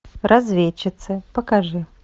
разведчицы покажи